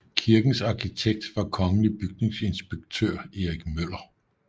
Kirkens arkitekt var kongelig bygningsinspektør Erik Møller